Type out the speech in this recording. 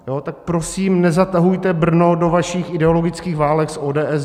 Tak prosím nezatahujte Brno do vašich ideologických válek s ODS!